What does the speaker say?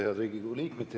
Head Riigikogu liikmed!